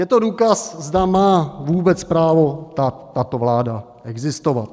Je to důkaz, zda má vůbec právo tato vláda existovat.